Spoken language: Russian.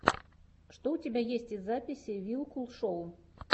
что у тебя есть из записей вилкул шоу